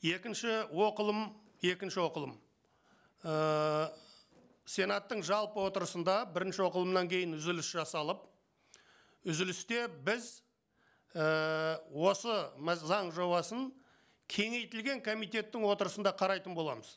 екінші оқылым екінші оқылым ііі сенаттың жалпы отырысында бірінші оқылымнан кейін үзіліс жасалып үзілісте біз ііі осы заң жобасын кеңейтілген комитеттің отырысында қарайтын боламыз